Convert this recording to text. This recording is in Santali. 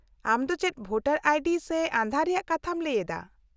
-ᱟᱢ ᱫᱚ ᱪᱮᱫ ᱵᱷᱳᱴᱟᱨ ᱟᱭᱰᱤ ᱥᱮ ᱟᱸᱫᱷᱟᱨ ᱨᱮᱭᱟᱜ ᱠᱟᱛᱷᱟᱢ ᱞᱟᱹᱭ ᱮᱫᱟ ᱾